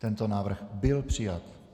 Tento návrh byl přijat.